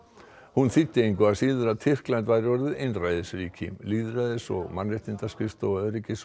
hún þýddi engu að síður að Tyrkland væri orðið einræðisríki lýðræðis og Mannréttindaskrifstofa Öryggis og